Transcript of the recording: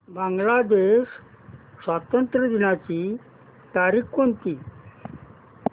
बांग्लादेश स्वातंत्र्य दिनाची तारीख कोणती